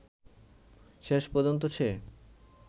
শেষ পর্যন্ত সে